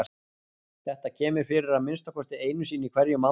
Þetta kemur fyrir að minnsta kosti einu sinni í hverjum mánuði.